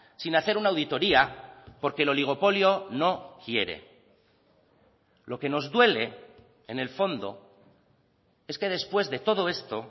sin hacer una auditoria porque el oligopolio no quiere lo que nos duele en el fondo es que después de todo esto